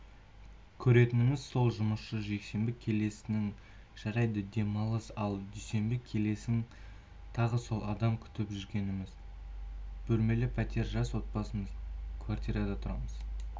көретініміз сол жұмысшы жексенбі келесің жарайды демалыс ал дүйсенбі келесің тағы сол адам күтіп жүргеніміз бөлмелі пәтер жас отбасымыз квартирада тұрамыз